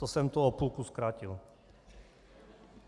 To jsem to o půlku zkrátil.